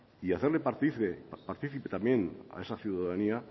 y hacerle partícipe también a esa ciudadanía